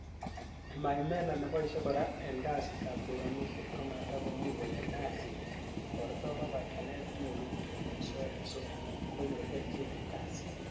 Maimela neboishe kora en kasitab choranisiet, komatakomuch konyor kasinyin kiborto kobaten nyoru kityok en soet so konyor kelchin en kasinyin.